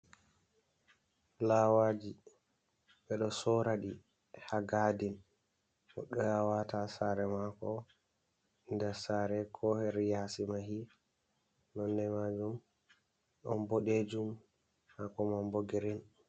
Fulawaji ɓeɗo sora ɗi ha gadin goɗɗo ya wata ha sare mako nder sare, ko her yasi mahi, nonde majum ɗon boɗejum hako man bo girin.